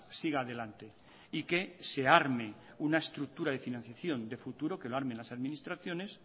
siga adelante y que se arme una estructura de financiación de futuro que lo armen las administraciones